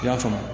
I y'a faamu